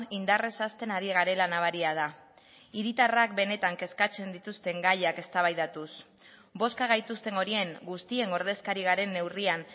indarrez hasten ari garela nabaria da hiritarrak benetan kezkatzen dituzten gaiak eztabaidatuz bozka gaituzten horien guztien ordezkari garen neurrian